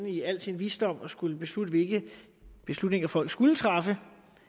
i al sin visdom skulle bestemme hvilke beslutninger folk skulle træffe